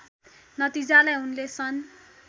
नतिजालाई उनले सन्